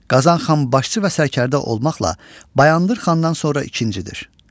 Qazan xan başçı və sərkərdə olmaqla Bayandur xandan sonra ikincidir.